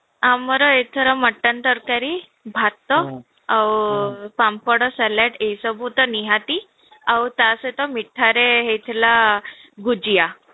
ଆମର ଏଥର mutton ତରକାରୀ ଭାତ ଆଉ ପାମ୍ପଡ salad ଏସବୁ ତ ନିହାତି ଆଉ ତା ସହିତ ମିଠାରେ ହେଇଥିଲା ଭୁଜିଆ